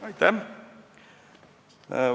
Aitäh!